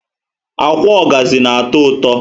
Ákwà ogazi na atọ ụtọ